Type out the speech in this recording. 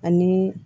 Ani